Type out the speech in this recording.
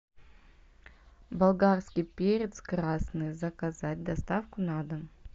болгарский перец красный заказать доставку на дом